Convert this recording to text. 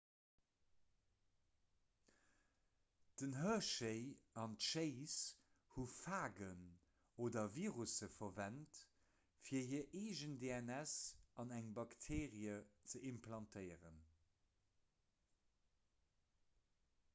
den hershey an d'chase hu phagen oder virusse verwent fir hir eegen dns an eng bakteerie ze implantéieren